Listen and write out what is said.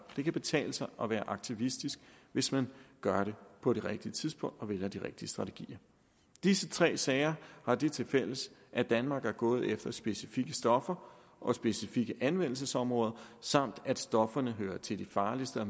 det kan betale sig at være aktivistisk hvis man gør det på det rigtige tidspunkt og vælger de rigtige strategier disse tre sager har det tilfælles at danmark er gået efter specifikke stoffer og specifikke anvendelsesområder samt at stofferne hører til de farligste og